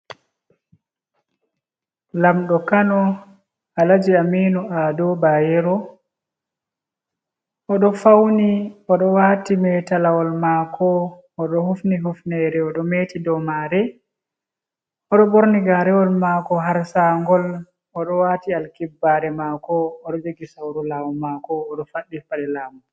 Lamɗo Kano, Alaji Aminu Ado Bayero. O ɗo fauni, o ɗo waati metalawol maako, o ɗo hufni hufnere, o ɗo meti dou maare. O ɗo ɓorni gaarewol maako har sangol, o ɗo waati alkibbaare mako, o ɗo jogi sauru laamu maako, o ɗo faɗɗi paɗe laamu.